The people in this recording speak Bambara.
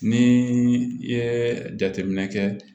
Ni i ye jateminɛ kɛ